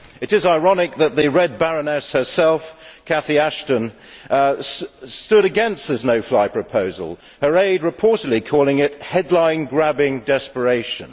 It is ironic that the Red Baroness herself, Cathy Ashton, stood against this no fly proposal, her aide reportedly calling it headline grabbing desperation'.